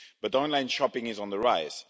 Online shopping is on the rise